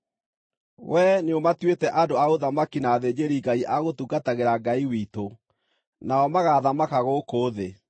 Wee nĩũmatuĩte andũ a ũthamaki na athĩnjĩri-Ngai a gũtungatagĩra Ngai witũ, nao magaathamaka gũkũ thĩ.”